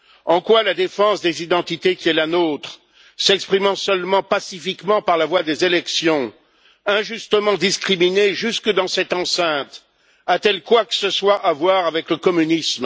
En quoi la défense des identités qui est la nôtre, s'exprimant seulement pacifiquement par la voie des élections, injustement discriminée jusque dans cette enceinte, a t elle quoi que ce soit à voir avec le communisme?